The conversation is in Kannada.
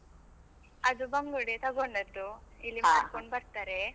ಅದು ಬಂಗುಡೆ ತಗೊಂಡದ್ದು ಇಲ್ಲಿ ಬರ್ತರೆ.